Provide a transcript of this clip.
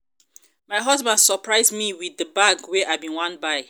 my husband surprise me with the bag wey i bin wan buy